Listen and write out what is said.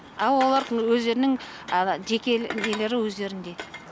ал олардың өздерінің ана жеке нелері өздерінде